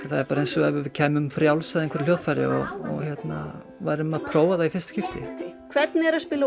það er bara eins og við kæmum frjáls að einhverju hljóðfæri og við værum að prófa það í fyrsta skipti hvernig er að spila á